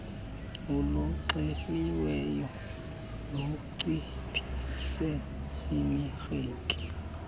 oluxeliweyo lunciphise imarike